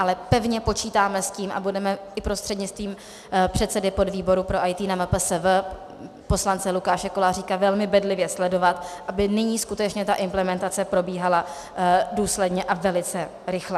Ale pevně počítáme s tím, a budeme i prostřednictvím předsedy podvýboru pro IT na MPSV poslance Lukáše Koláříka velmi bedlivě sledovat, aby nyní skutečně ta implementace probíhala důsledně a velice rychle.